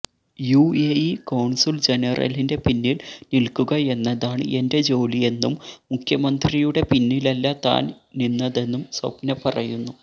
UAE consul ജനറലിന്റെ പിന്നിൽ നിൽക്കുക എന്നതാണ് എന്റെ ജോലിയെന്നും മുഖ്യമന്ത്രിയുടെ പിന്നിലല്ല താൻ നിന്നതെന്നും സ്വപ്ന പറയുന്നു